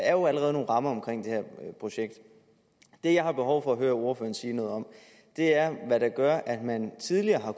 er jo allerede nogle rammer omkring det her projekt det jeg har behov for at høre ordføreren sige noget om er hvad der gør at man tidligere har